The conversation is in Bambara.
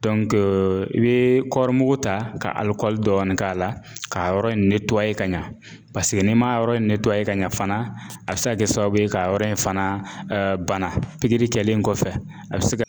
Dɔnkee i bee kɔri mugu ta ka alikɔli dɔɔnin k'a la k'a yɔrɔ in netuwaye ka ɲa paseke n'i ma yɔrɔ in netuwaye ka ɲa fana a bi se ka kɛ sababu ye k'a yɔrɔ in fana bana pigiri kɛlen kɔfɛ a be se ka